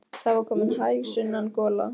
Það var komin hæg sunnan gola.